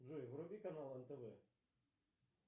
джой вруби канал нтв